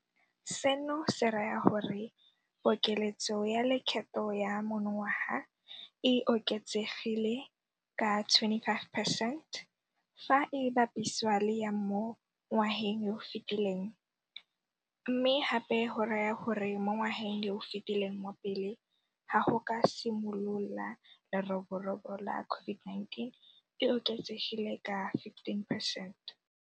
Seno se raya gore pokeletso ya lekgetho ya monongwaga e oketsegile ka 25 percent fa e bapisiwa le ya mo ngwageng yo o fetileng, mme gape go raya gore mo ngwageng yo o fetileng wa pele ga go ka simolola leroborobo la COVID-19 e oketsegile ka 15 percent.